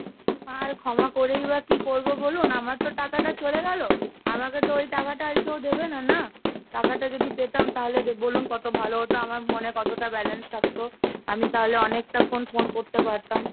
আর ক্ষমা করেই বা কি করবো বলুন? আমার তো টাকাটা চলে গেলো, আমাকে তো ওই টাকাটা আর কেউ দেবে না? না? টাকাটা যদি পেতাম তাহলে বলুন কত ভালো হতো আমার কতটা balance থাকতো? আমি তাহলে অনেকটাক্ষন phone করতে পারতাম।